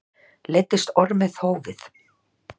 Leiddist Ormi þófið.